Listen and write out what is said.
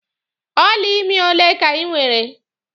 Ọla ime ole ka ị nwere?